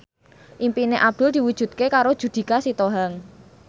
impine Abdul diwujudke karo Judika Sitohang